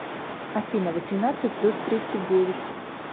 афина восемнадцать плюс тридцать девять